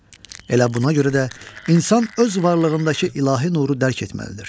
Elə buna görə də insan öz varlığındakı ilahi nuru dərk etməlidir.